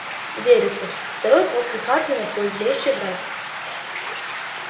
вересов второй после хардина твой злейший враг